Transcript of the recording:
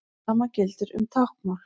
Hið sama gildir um táknmál.